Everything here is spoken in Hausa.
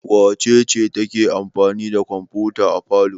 Wace ce take amfani da kwamfuta a falo?